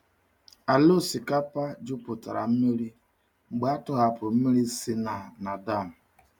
Ala osikapa jupụtara mmiri mgbe a tọhapụrụ mmiri si na na dam.